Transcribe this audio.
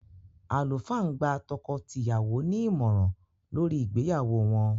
Àlùfáà ń gba tọkọ-tìyàwó ní ìmọ̀ràn lórí ìgbéyàwó wọ́n.